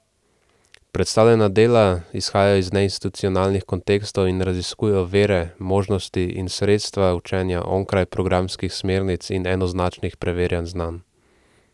Predstavljena dela izhajajo iz neinstitucionalnih kontekstov in raziskujejo vire, možnosti in sredstva učenja onkraj programskih smernic in enoznačnih preverjanj znanj.